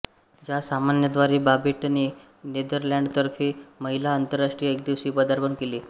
या सामन्याद्वारे बाबेटने नेदरलँड्सतर्फे महिला आंतरराष्ट्रीय एकदिवसीय पदार्पण केले